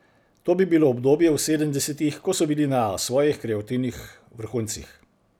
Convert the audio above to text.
To bi bilo obdobje v sedemdesetih, ko so bili na svojih kreativnih vrhuncih.